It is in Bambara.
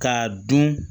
K'a dun